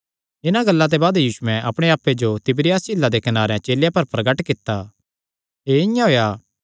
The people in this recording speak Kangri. इन्हां गल्लां ते बाद यीशुयैं अपणे आप्पे जो तिबिरियास झीला दे कनारे चेलेयां पर प्रगट कित्ता एह़ इआं होएया